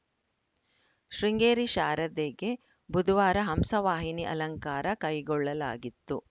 ಶೃಂಗೇರಿ ಶಾರದೆಗೆ ಬುಧವಾರ ಹಂಸವಾಹಿನಿ ಅಲಂಕಾರ ಕೈಗೊಳ್ಳಲಾಗಿತ್ತು